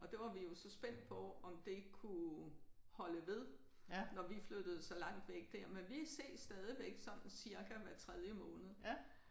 Og det var vi jo så spændt på om det kunne holde ved når vi flyttede så langt væk der. Men vi ses stadigvæk sådan cirka hver tredje måned